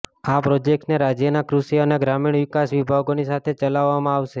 આ પ્રોજેક્ટને રાજ્યના કૃષિ અને ગ્રામીણ વિકાસ વિભાગોની સાથે ચલાવવામાં આવશે